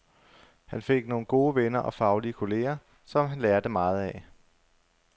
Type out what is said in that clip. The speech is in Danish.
Han fik nogle gode venner og faglige kolleger, som han lærte meget af.